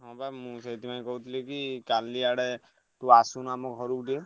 ହଁ ବା ମୁଁ ସେଇଥିପାଇଁ କହୁଥିଲି କି କାଲି ଆଡେ ତୁ ଆସୁନୁ ଆମ ଘରୁକୁ ଟିକେ।